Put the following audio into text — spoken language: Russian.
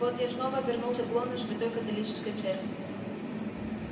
вот я снова вернулся в лоно святой католической церкви